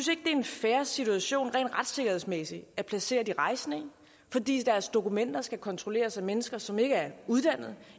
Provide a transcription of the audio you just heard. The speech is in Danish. det er en fair situation rent retssikkerhedsmæssigt at placere de rejsende i fordi deres dokumenter skal kontrolleres af mennesker som ikke er uddannet